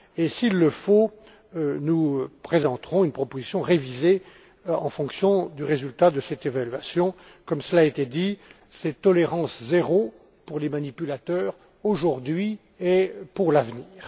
S'il le faut, nous présenterons une proposition révisée en fonction du résultat de cette évaluation, comme cela a été dit, de cette tolérance zéro pour les manipulateurs, aujourd'hui et pour l'avenir.